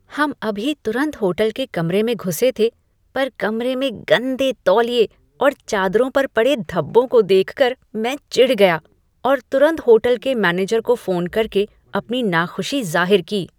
हम अभी तुरंत होटल के कमरे में घुसे थे पर कमरे में गंदे तौलिए और चादरों पर पड़े धब्बों को देख कर मैं चिढ़ गया और तुरंत होटल के मैनेजर को फोन करके अपनी नाखुशी जाहिर की।